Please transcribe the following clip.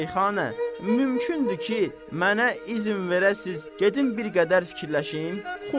Şeyxana, mümkündür ki, mənə izn verəsiz, gedim bir qədər fikirləşim.